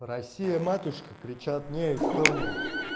россия-матушка кричат не эстония